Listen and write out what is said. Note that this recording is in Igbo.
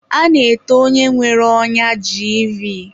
A na-ete onye nwere ọnya jiivii.